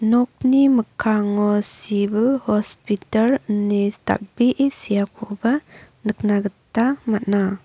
nokni mikkango sibil hospitar ine dal·bee seakoba nikna gita man·a.